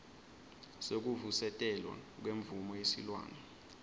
sekuvusetelwa kwemvumo yesilwane